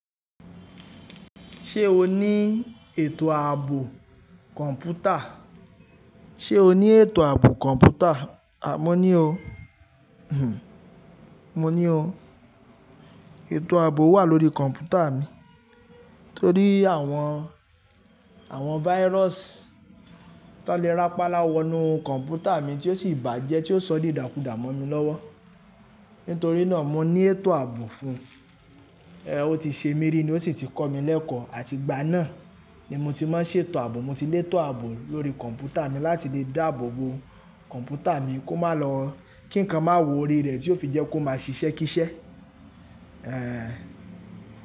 Ṣé o ní ètò ààbò kọ̀mpútà? Ṣé o ní ètò ààbò kọ̀mpútà? Mo ní o. Mo ní o. Ètò ààbò wà lórí kọ̀mpútà mi. Nítorí àwọn, àwọn virus tó n lè rápalá wọ nu kọ̀mpútà mi tí ó sì bà jẹ́ tí ó sọ dídákudà mọ́ mi lọ́wọ́. Nítorí náà mo ní ètò ààbò fún un. O ti ṣe mí ri ní ó sì ti kọ́ mi lẹ́kọ̀ọ́ àti igbá náà ni mo ti máa ń ṣètò ààbò. Mo ti lé ètò ààbò lórí kọ̀mpútà mi láti lè dáàbò bo kọ̀mpútà mi kó má lọ́, kí nǹkan má wọ̀ orí rẹ̀ tí yóò fi jẹ́ kó má ṣiṣẹ́ kíṣẹ́.